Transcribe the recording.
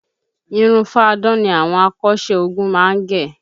Irun fáadán ni àwọn akọ́ṣẹ́ ogun má ń gẹ